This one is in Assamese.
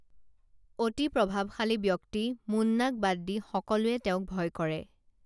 অতি প্ৰভাবশালী ব্যক্তি মুন্নাক বাদ দি সকলোৱে তেওঁক ভয় কৰে